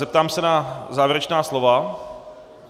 Zeptám se na závěrečná slova.